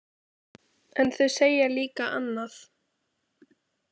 En þau segja líka annað.